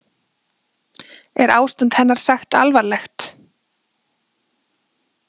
Er ástand hennar sagt alvarlegt